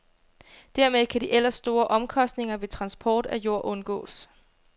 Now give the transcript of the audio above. Dermed kan de ellers store omkostninger ved transport af jord undgås.